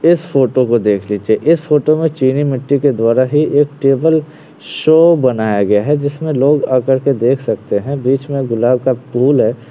इस फोटो को देख लीजिए इस फोटो में चीनी मिट्टी के द्वारा ही एक टेबल शो बनाया गया है जिसमें लोग आ करके देख सकते हैं बीच में गुलाब का फुल है।